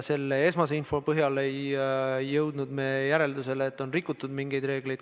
Selle esmase info põhjal ei jõudnud me järeldusele, et oleks rikutud mingeid reegleid.